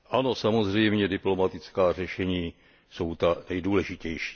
Ano, samozřejmě diplomatická řešení jsou ta nejdůležitější.